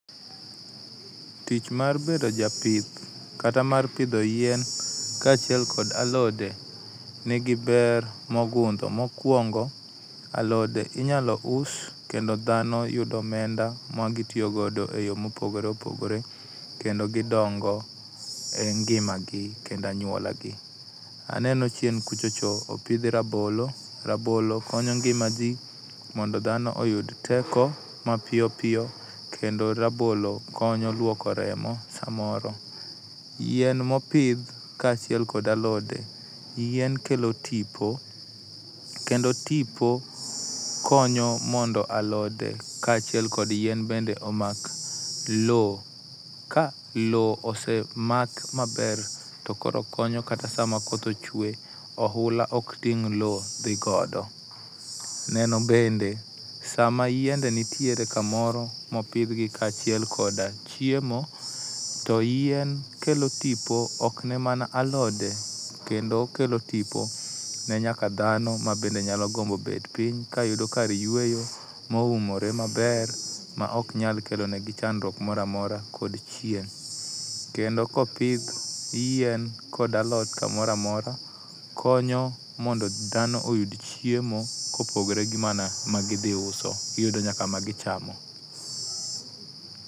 Tich mar bedo japith kata mar pidho yien kaachiel kod alode nigi ber mogundho. Mokuongo, alode inyalo us kendo dhano yudo omenda mag tiyo godo eyore mopogore opogore kendo gidongo e ngimagi kendo anyuolagi. Aneno chien kucho cho opidhe rabolo, rabolo konyo ngimaji mondo dhano oyud teko ma piyo piyo kendo rabolo konyo luoko remo samoro. Yien ma opidh kaachiel kod alode yien kelo tipo kendo tipo konyo mondo alode kaachiel kod yien bende omak lowo, ka lowo osemak maber to koro konyo kata sama koth ochwe oula ok ting' lowo dhi kodo. Neno bende sama yiende nitiere kamoro mopidhgi kaachiel koda chiemo to yien kelo tipo ok ne mana alode kendo okelo tipo ne nyaka dhano mabende nyalo gombo bet piny kayudo kar yueyo moumore maber maok nyal kelo negi chandruok moro amora kod chieng'. Kendo ka opidh yien kod alot kamoro amora, konyo mondo dhano yud chiemo kopogore gi mana magidhi uso, giyudo nyaka magichamo.